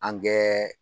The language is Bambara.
An kɛ